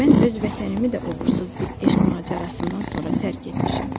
Mən öz vətənimi də uğursuz bir eşq macərasından sonra tərk etmişəm.